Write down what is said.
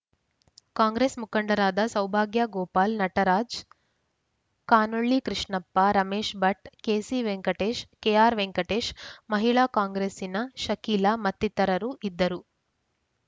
ಕಾಂಗ್ರೆಸ್‌ ಮುಖಂಡರಾದ Saubhagya Gopal Nataraj Kanolli Krishnappa Ramesh Bhat K C Venkatesh K R Venkatesh ಮಹಿಳಾ ಕಾಂಗ್ರೆಸ್ಸಿನ ಶಕೀಲಾ ಮತ್ತಿತರರು ಇದ್ದರು